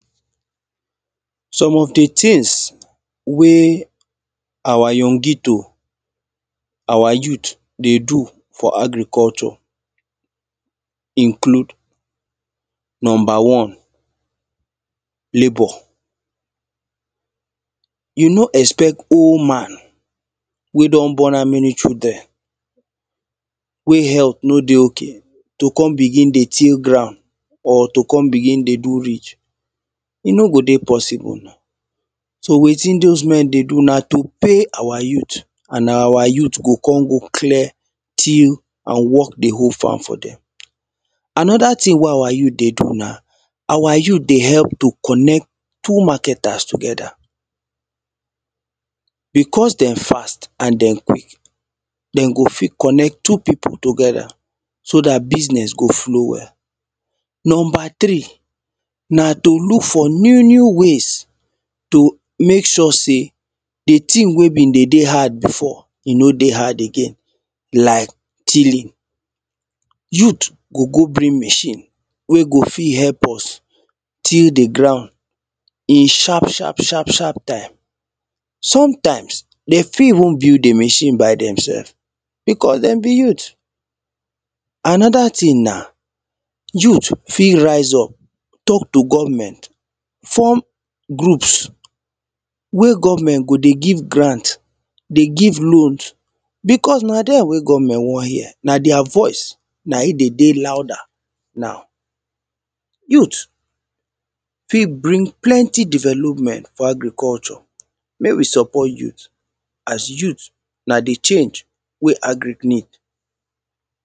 some of the things wey our youngito our youth dey do for agriculture include number one labour you no expect old man wey don born how many children wey health no dey okay to come begin dey till ground or to come begin dey do ridge e no go dey possible na so wetin those men dey do na to pay our youth and our youth go come go clear till and work the whole farm for them another thing wey our youth dey do na our youth dey help to connect two marketers together because they fast and they quick they go fit connect two people together so that business go flow well number three na to look for new new ways to make sure say the thing wey been dey dey hard before e no dey hard again like tilling youth go go bring machine wey go fit help us till the ground in sharp sharp sharp sharp time sometimes they fit even build the machine by themself because them be youth another thing na youth fit rise up talk to government form groups wey government go dey give grant dey give load because na them wey government wan hear na their voice na e dey dey louder now youth fit bring plenty development for agriculture make we support youth as youth na the change wey agric need